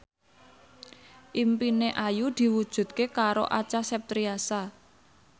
impine Ayu diwujudke karo Acha Septriasa